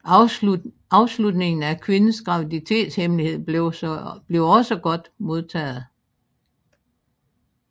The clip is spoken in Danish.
Afslutningen af Quinns graviditetshemmelighed blev også godt modtaget